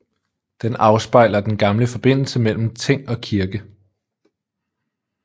Den afspejler den gamle forbindelse mellem ting og kirke